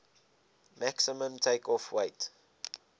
maximum takeoff weight